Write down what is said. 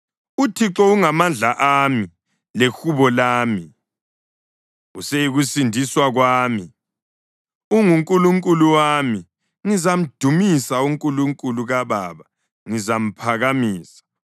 UThixo ungamandla ami lehubo lami; useyikusindiswa kwami. UnguNkulunkulu wami, ngizamdumisa; uNkulunkulu kababa ngizamphakamisa.